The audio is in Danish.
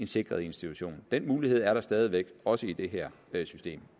sikret institution den mulighed er der stadig væk også i det her system